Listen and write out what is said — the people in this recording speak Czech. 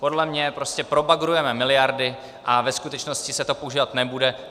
Podle mě prostě probagrujeme miliardy a ve skutečnosti se to používat nebude.